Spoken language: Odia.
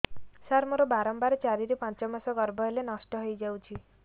ସାର ମୋର ବାରମ୍ବାର ଚାରି ରୁ ପାଞ୍ଚ ମାସ ଗର୍ଭ ହେଲେ ନଷ୍ଟ ହଇଯାଉଛି